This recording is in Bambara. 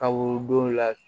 Ka worodon la